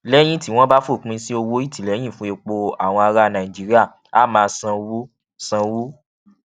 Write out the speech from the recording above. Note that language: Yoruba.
lẹyìn tí wọn bá fòpin sí owó ìtìléyìn fún epo àwọn ará nàìjíríà á máa sanwó sanwó